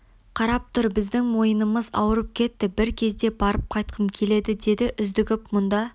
қарап тұр біздің мойнымыз ауырып кетті бір кезде барып қайтқым келеді деді үздігіп мұнда